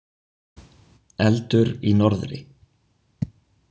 Eldur í norðri.